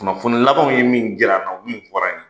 Kunnafoni labanw ye min jira an na min fɔr'an ye.